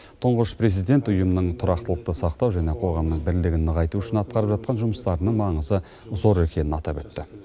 тұңғыш президент ұйымның тұрақтылықты сақтау және қоғамның бірлігін нығайту үшін атқарып жатқан жұмыстарының маңызы зор екенін атап өтті